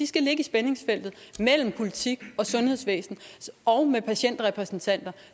skal ligge i spændingsfeltet mellem politik og sundhedsvæsen og med patientrepræsentanter